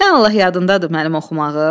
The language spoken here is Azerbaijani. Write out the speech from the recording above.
Sən Allah yadındadır mənim oxumağım?